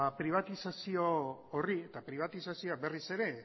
pribatizazio horri eta pribatizazioa berriz ere